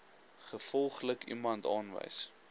gevolglik iemand aanwys